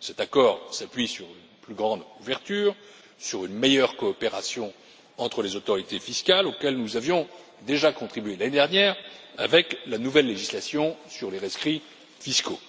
Cet accord s'appuie sur une plus grande ouverture et sur une meilleure coopération entre les autorités fiscales, auxquelles nous avions déjà contribué l'année dernière avec la nouvelle législation sur les rescrits fiscaux.